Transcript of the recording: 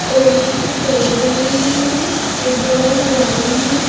और पीछे पेड़ बने हुए है एक बड़ा सा गार्डन है।